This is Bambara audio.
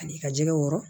Ani i ka jɛgɛw wɔɔrɔ